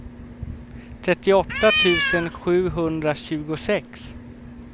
trettioåtta tusen sjuhundratjugosex